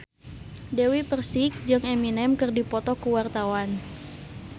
Dewi Persik jeung Eminem keur dipoto ku wartawan